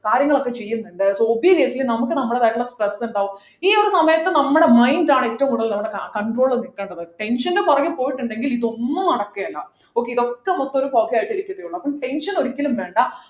കാര്യങ്ങളൊക്കെ ചെയ്യുന്നുണ്ട് so obviously എന്തെയ്യ നമുക്ക് നമ്മളതായിട്ടുള്ള stress ഉണ്ടാവും ഈ ഒരു സമയത്ത് നമ്മടെ mind ആയിട്ട് ആണ് കൂടുതൽ control നിൽക്കേണ്ടത് tension ൻ്റെ പുറകെ പോയിട്ടുണ്ടെങ്കിൽ ഇതൊന്നും നടക്കില്ല okay ഇതൊക്കെ മൊത്തം ഒരു പൊകയായിട്ടിരിക്കത്തേയുള്ളൂ അപ്പൊ tension ഒക്കെ ഒരിക്കലും വേണ്ട